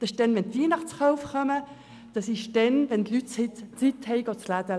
– Wegen der Weihnachtseinkäufe, für die sich die Leute Zeit zum Einkaufen nehmen.